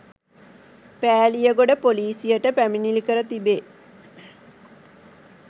පෑලියගොඩ ‍පොලීසියට පැමිණිලි කර තිබේ.